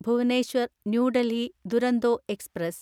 Bhubaneswar new Delhi Duronto express